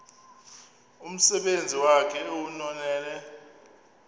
umsebenzi wakhe ewunonelele